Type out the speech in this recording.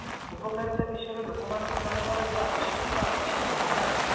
ଉପକାରିତା ବିଷୟରେ ଲୋକମାନଙ୍କୁ ଜଣେଇବାର ଏବେ ଆବଶ୍ୟକତା ଅଛି ନା ନାହିଁ